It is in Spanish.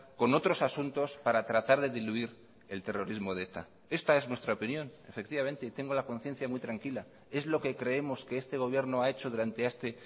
con otros asuntos para tratar de diluir el terrorismo de eta esta es nuestra opinión efectivamente y tengo la conciencia muy tranquila es lo que creemos que este gobierno ha hecho durante este